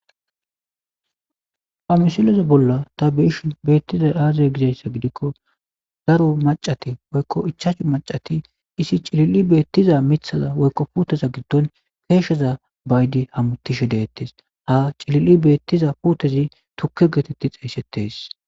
Ha missileza bolan ta be'ishe betizay aze gizaysa gidiko daro mac'ati woyko ichachu mac'ati issi xelin betiza mitata woyko puteza gidon kesheza ba'idi hamutishe de'etes cilili betiza putezi tuke geteti xesetes.